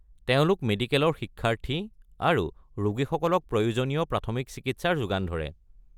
তেওঁলোক মেডিকেলৰ শিক্ষাৰ্থী আৰু ৰোগীসকলক প্ৰয়োজনীয় প্ৰাথমিক চিকিৎসাৰ যোগান ধৰে।